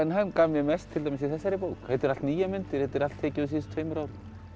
hann gaf mér mest í þessari bók þetta eru allt nýjar myndir þetta er allt tekið á síðustu tveimur árum